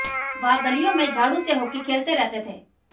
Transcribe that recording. वह गलियों में झाडु से हॉकी खेलते रहते थे